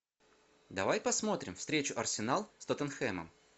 давай посмотрим встречу арсенал с тоттенхэмом